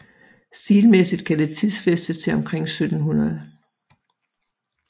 Stilmæssigt kan det tidsfæstes til omkring 1700